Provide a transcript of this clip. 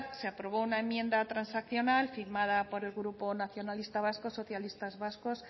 se aprobó una enmienda transaccional firmada por el grupo nacionalista vasco socialistas vascos